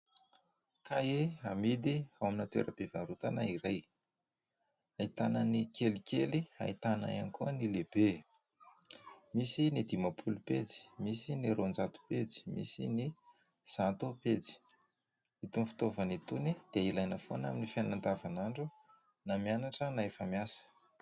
Kahie hamidy ao amina toeram-pivarotana iray ahitanan'ny kelikely ahitana ihany koa ny lehibe, misy ny dimapolo pejy, misy ny roanjato pejy, misy ny zato pejy. Itony fitaovana itony dia ilaina foana amin'ny fiainana andavanandro na mianatra na efa miasa.